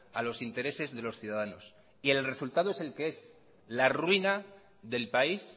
a los intereses de los ciudadanos y el resultado es el que es la ruina del país